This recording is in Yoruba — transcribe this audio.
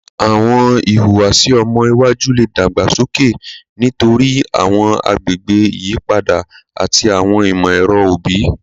Awọn ihuwasi ọmọ iwaju le dagbasoke nitori awọn agbegbe iyipada ati awọn imọ-ẹrọ obi